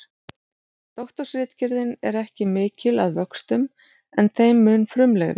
Doktorsritgerðin er ekki mikil að vöxtum en þeim mun frumlegri.